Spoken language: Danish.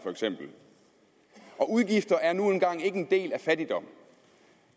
og udgifter er nu engang ikke en del af fattigdom